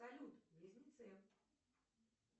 салют близнецы